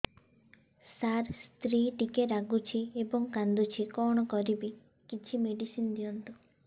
ସାର ସ୍ତ୍ରୀ ଟିକେ ରାଗୁଛି ଏବଂ କାନ୍ଦୁଛି କଣ କରିବି କିଛି ମେଡିସିନ ଦିଅନ୍ତୁ